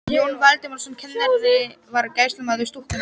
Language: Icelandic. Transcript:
Jón Valdimarsson kennari var gæslumaður stúkunnar.